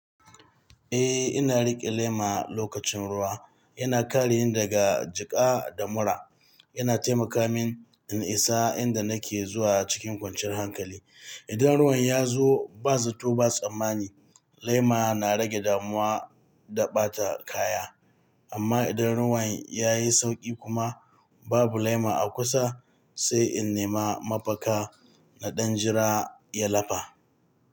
Eh ina riƙe lema lokacin ruwa. Yana kare ni daga jiƙa da mura. Yana taimaka min in isa inda nake zuwa cikin kwanciyar hankali. Idan ruwan ya zo ba zato ba tsammani, lema na rage damuwa da ɓata kaya. Amma idan ruwan ya yi sauƙi kuma babu lema a kusa, sai in nema mafaka na ɗan jira ya lafa.